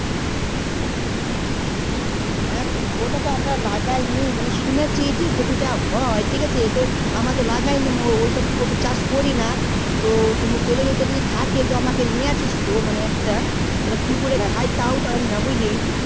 হ্যাঁ ওটা তো আমরা লগাই নি মানে শুনেছি কোপি তা হয় তো ঠিক আছে আমরা তো লাগাই নি ওই সব কোপি চাষ করি না তো তোদের ওই দিকে যদি থাকে তো আমার জন্য নিয়ে আসিস তো মানে একটা তো কি করে খাই তও জানি না বুঝলি